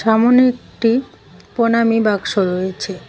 সামোনে একটি প্রনামী বাক্স রয়েছে।